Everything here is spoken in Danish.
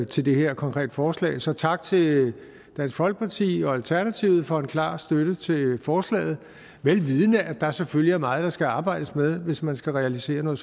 til det her konkrete forslag så tak til dansk folkeparti og alternativet for en klar støtte til forslaget vel vidende at der selvfølgelig er meget der skal arbejdes med hvis man skal realisere noget